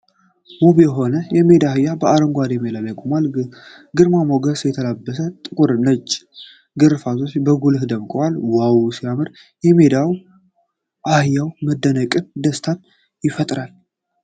ውብ የሆነ የሜዳ አህያ በአረንጓዴ ሜዳ ላይ ቆሟል ። ግርማ ሞገስ የተላበሰ ጥቁርና ነጭ ግርፋቶቹ በጉልህ ደምቀዋል ። ዋው ሲያምር! የሜዳ አህያው መደነቅንና ደስታን ይፈጥራል።